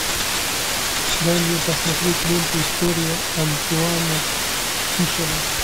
дай мне посмотреть ленту история антуана фишера